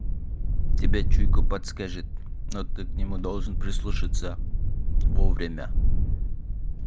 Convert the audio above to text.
тебе чуйка подскажет но ты к нему должен прислушаться во время